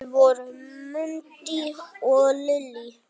Þau voru Mundi og Lillý.